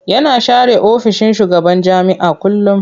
Yana share ofishin shugaban jami'a kullum.